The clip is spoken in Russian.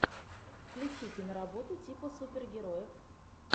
включи киноработу типа супергероев